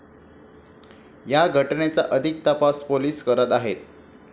या घटनेचा अधिक तपास पोलिस करीत आहेत.